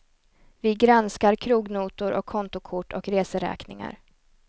Vi granskar krognotor och kontokort och reseräkningar.